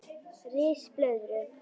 Ris blöðru